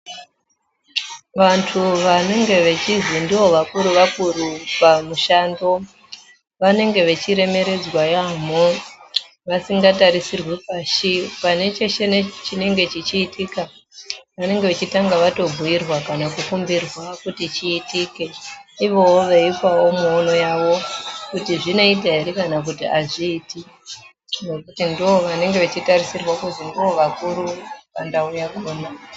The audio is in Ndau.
Vantu vanenge vechizi ndivo vakuru vakuru pamushando vanenge vechiremeredzwa yaambo vasingatarisirwe pashi pane peshe chinenge cheitika vanonga vachitanga vatobhuyirwa nekukumbirwa kuti chiitike uyewo veipawo muono wavo kuti zvinoita ere kana kuti zviti nekuti ndovanenge vechitarisirwa kuti ndovakuru pandau yakona